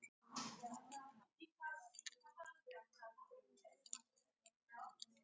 Ef til vill má kenna tíðarandanum um sinnuleysi sem þetta.